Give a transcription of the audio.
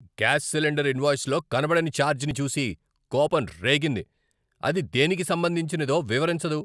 Gas cylinder ఇన్వాయిస్లో కనబడని ఛార్జ్ని చూసి కోపం రేగింది, అది దేనికి సంబంధించినదో వివరించదు.